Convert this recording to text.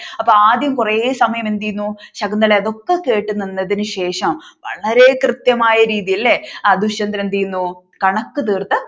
അപ്പൊ ആദ്യം കുറെ സമയം എന്ത് ചെയ്യുന്നു ശകുന്തള അതൊക്കെ കേട്ടുനിന്നതിനു ശേഷം വളരെ കൃത്യമായ രീതിയിൽ അല്ലെ ദുഷ്യന്തനെ എന്ത് ചെയ്യുന്നു കണക്ക് തീർത്തു